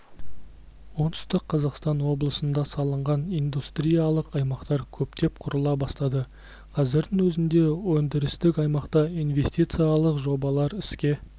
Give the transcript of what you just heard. оңтүстік қазақстан облысында салынған индустриялық аймақтар көптеп құрыла бастады қазірдің өзінде өндірістік аймақта инвестициялық жобалар іске